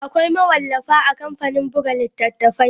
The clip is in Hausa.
Akwai mawallafa a kamfanin buga littattafai.